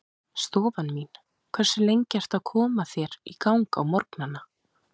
Stofan mín Hversu lengi ertu að koma þér í gang á morgnanna?